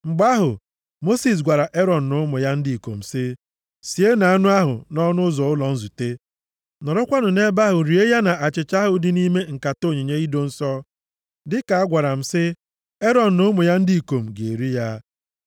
Mgbe ahụ, Mosis gwara Erọn na ụmụ ya ndị ikom sị, “Sienụ anụ ahụ nʼọnụ ụzọ ụlọ nzute. Nọrọkwanụ nʼebe ahụ rie ya na achịcha ahụ dị nʼime nkata onyinye ido nsọ, dịka a gwara m, sị, ‘Erọn na ụmụ ya ndị ikom ga-eri ya.’